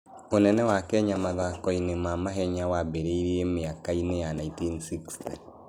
Ũnene wa Kenya mathako-inĩ ma mahenya wambĩrĩirie mĩaka-inĩ ya 1960.